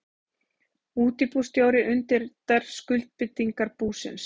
Útibússtjóri undirritar skuldbindingar búsins.